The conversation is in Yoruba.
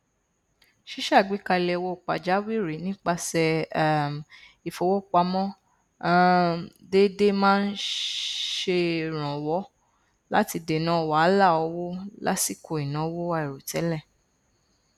ṣíṣàgbékalẹ owó pàjáwìrì nípasẹ um ìfowópamọ um déédé máa n ṣè irànwọ láti dènà wàhálà owó lásìkò ìnáwó àìròtẹlẹ